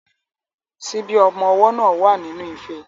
Ṣíbí ọmọ ọwọ́ náà wà nínú ife.